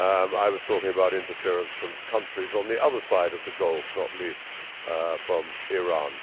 I was talking about interference from countries on the other side of the Gulf, not least from Iran.